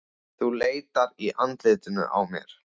Þú leitar í andlitinu á mér.